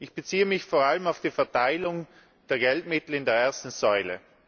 Ich beziehe mich vor allem auf die Verteilung der Geldmittel in der ersten Säule.